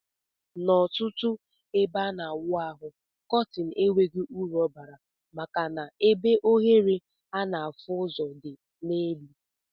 Na ọtụtụ ebe ana awụ ahụ kọtin enweghi uru ọbara maka na ebe ohere ana afụ ụzọ di na elu.